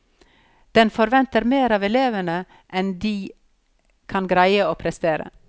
Den forventer mer av elevene enn de kan greie å prestere.